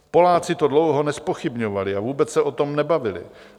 Poláci to dlouho nezpochybňovali a vůbec se o tom nebavili.